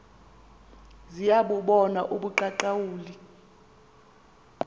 ziya bubona ubuqaqawuli